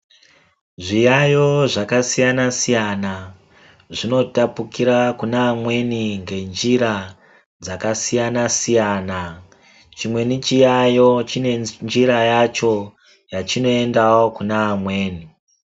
Zviyaiyo zvakasiyana-siyana, zvinotapukira kune amweni ngenjira ,dzakasiyana-siyana. Chimweni chiyaiyo chine njira yacho, yachinoendawo kune amweni.